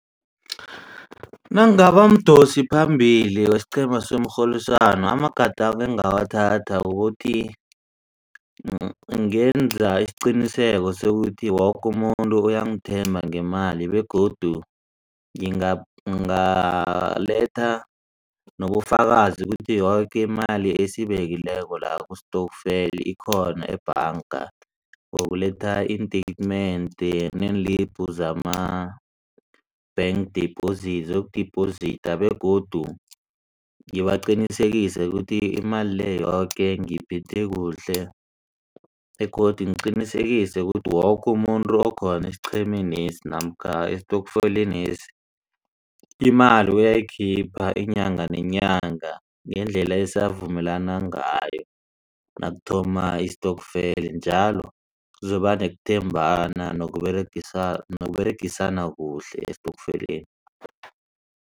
Nangingaba mdosiphambili wesiqhema somrholiswano amagadango engiwathatha kukuthi ngenze isiqiniseko sokuthi woke umuntu uyangithemba ngemali begodu ngingaletha nobufakazi ukuthi yoke imali esiyibekileko la kusitokfeli ikhona ebhanga. Nokuletha iin-statement neenlibhu zama-bank dephozitha zokudibhozitha begodu ngibaqinisekise ukuthi imali le yoke ngiyiphethe kuhle begodu ngiqinisekise kuthi woke umuntu okhona esiqhemenesi namkha esitokfelenesi. Imali uyayikhipha inyanga nenyanga ngendlela esavumelana ngayo nakuthoma istokfeli njalo kuzokuba nokuthembana noberegisana kuhle esitokfeleni.